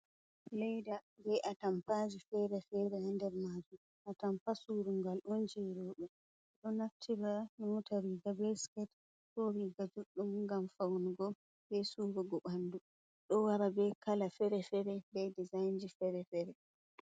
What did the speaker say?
Leyda be a tampaji fere-fere ha nder majum, a tampa surungal on je roɓe, ɗo naftira ƴota riga be siket ko riga juɗɗum ngam faunugo be surugo ɓandu, ɗo wara be kala fere-fere be dezainji fere-fere.